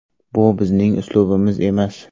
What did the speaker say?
Bu bizning uslubimiz emas.